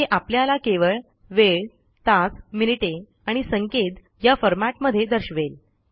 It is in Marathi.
हे आपल्याला केवळ वेळ तास मिनिटे आणि सेकंद या फॉरमॅटमध्ये दर्शवेल